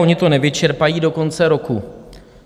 Oni to nevyčerpají do konce roku.